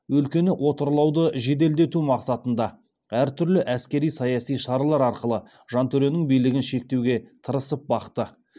өлкені отарлауды жеделдету мақсатында әр түрлі әскери саяси шаралар арқылы жантөренің билігін шектеуге тырысып бақты